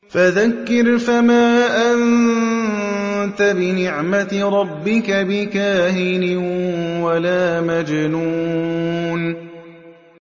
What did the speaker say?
فَذَكِّرْ فَمَا أَنتَ بِنِعْمَتِ رَبِّكَ بِكَاهِنٍ وَلَا مَجْنُونٍ